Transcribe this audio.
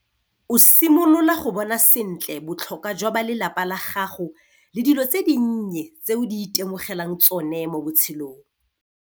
O simolola go bona sentle botlhokwa jwa balelapa la gago le dilo tse dinnye tse o di itemogelang tsone mo botshelong.